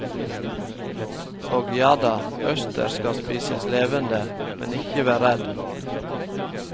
Og jada, østers skal spises levende, men ikke vær redd.